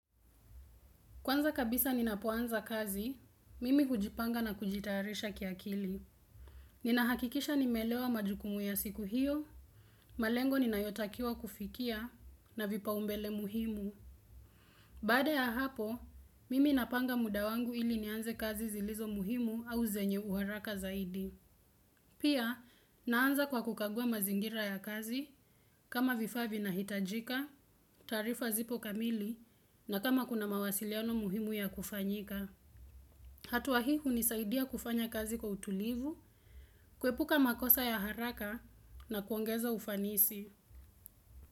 Kwanza kabisa ninapoanza kazi, mimi hujipanga na kujitayarisha kiakili. Ninahakikisha nimeelewa majukumu ya siku hiyo, malengo ninayotakiwa kufikia na vipaumbele muhimu. Baada ya hapo, mimi napanga mudawangu ili nianze kazi zilizo muhimu au zenye uharaka zaidi. Pia, naanza kwa kukagua mazingira ya kazi kama vifaavi na hitajika, taarifa zipo kamili na kama kuna mawasiliano muhimu ya kufanyika. Hatua hii hunisaidia kufanya kazi kwa utulivu, kuepuka makosa ya haraka na kuongeza ufanisi.